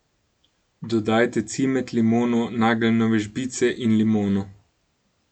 Dodajte cimet, limono, nageljnove žbice in limono.